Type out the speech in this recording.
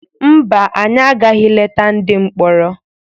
Mba, anyị agaghị leta ndị mkpọrọ.